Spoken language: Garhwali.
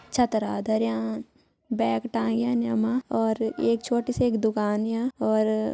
छतरा धर्यां बैग टांग्यान यू मा और एक छोटी सी एक दुकान या और --